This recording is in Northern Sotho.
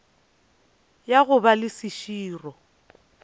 ya go ba le seširo